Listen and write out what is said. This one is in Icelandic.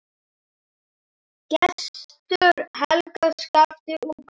Gestur, Helga, Skafti og Gunnar.